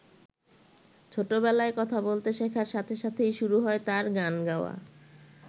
ছোটবেলায় কথা বলতে শেখার সাথে সাথেই শুরু হয় তাঁর গান গাওয়া।